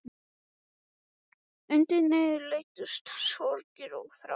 Undir niðri leyndust sorgir og þrár.